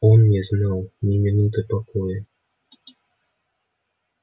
он не знал ни минуты покоя